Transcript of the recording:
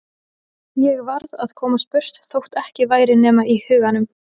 Ég varð að komast burt þótt ekki væri nema í huganum.